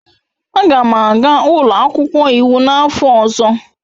Aga m aga ụlọ akwụkwọ iwu n'afọ ọzọ.